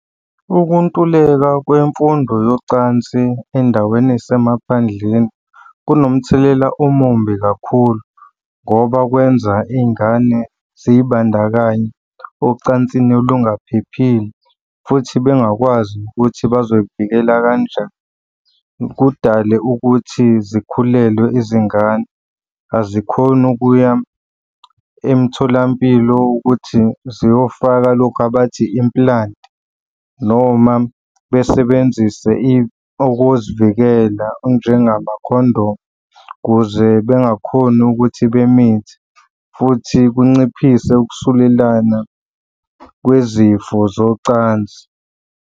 Ukuntuleka kwemfundo yocansi ey'ndaweni ey'semaphandleni kunomthelela omumbi kakhulu ngoba kwenza iy'ngane ziy'bandakanye ocansini olungaphephile futhi bengakwazi nokuthi bazoy'vikela kanjani. Kudale ukuthi zikhulelwe izingane, azikhoni ukuya emtholampilo ukuthi ziyofaka lokhu abathi implant noma besebenzise okokuzivikela okunjengama-condom kuze bengakhoni ukuthi bemithe futhi kunciphise ukusulelana kwezifo zocansi.